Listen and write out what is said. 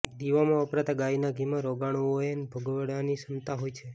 દીવામાં વપરાતા ગાયના ઘીમાં રોગાણુઓએન ભગાડવાની ક્ષમતા હોય છે